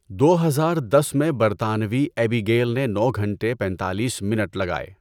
دو ہزار دس میں برطانوی ایبی گیل نے نو گھنٹے پینتالیس منٹ لگائے۔